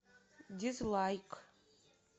дизлайк